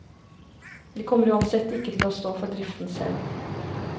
Vi kommer uansett ikke til å stå for driften selv.